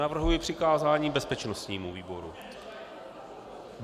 Navrhuji přikázání bezpečnostnímu výboru.